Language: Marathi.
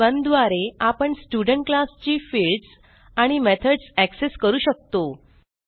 स्टड1 द्वारे आपण स्टुडेंट क्लास ची फील्ड्स आणि मेथडस एक्सेस करू शकतो